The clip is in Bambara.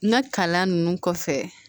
N ka kalan ninnu kɔfɛ